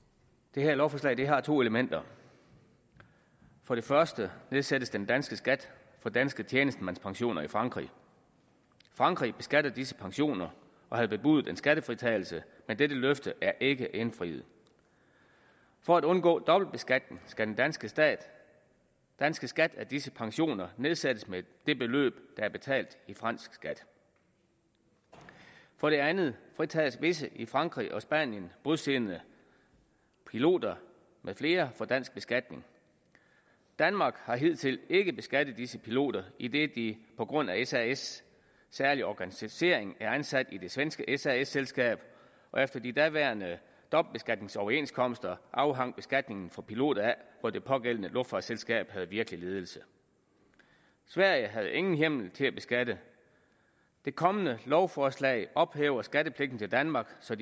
det her lovforslag har to elementer for det første nedsættes den danske skat for danske tjenestemandspensioner i frankrig frankrig beskatter disse pensioner og havde bebudet skattefritagelse men dette løfte er ikke blevet indfriet for at undgå dobbeltbeskatning skal den danske skat danske skat af disse pensioner nedsættes med det beløb der er betalt i fransk skat for det andet fritages visse i frankrig og spanien bosiddende piloter med flere for dansk beskatning danmark har hidtil ikke beskattet disse piloter idet de på grund af sas’ særlige organisering er ansat i det svenske sas selskab efter de daværende dobbeltbeskatningsoverenskomster afhang beskatningen for piloter af hvor det pågældende luftfartsselskab havde virkelig ledelse sverige havde ingen hjemmel til at beskatte det kommende lovforslag ophæver skattepligten til danmark så